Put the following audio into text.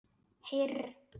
Heyr!